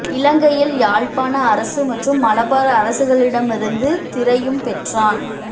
இலங்கையில் யாழ்ப்பாண அரசு மற்றும் மலபார் அரசுகளிடமிருந்து திறையும் பெற்றான்